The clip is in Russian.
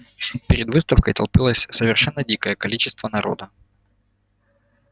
перед выставкой толпилось совершенно дикое количество народа